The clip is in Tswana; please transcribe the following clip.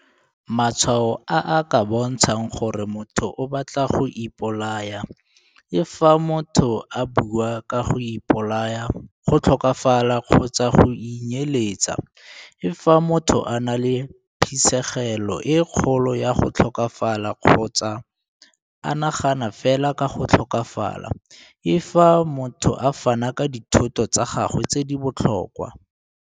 Matshwao a a ka bontshang gore motho o batla go ipolaya - l Fa motho a bua ka go ipolaya, go tlhokafala kgotsa go inyeletsa.l Fa motho a na le phisegelo e kgolo ya go tlhokafala kgotsa a nagana fela ka go tlhokafala.l Fa motho a fana ka dithoto tsa gagwe tse di botlhokwa.